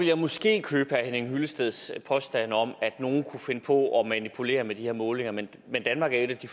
jeg måske købe herre henning hyllesteds påstand om at nogen kunne finde på at manipulere med de her målinger men men danmark er et af de